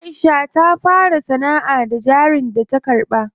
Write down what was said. Aisha ta fara sanaʼa da jarin da ta karɓa.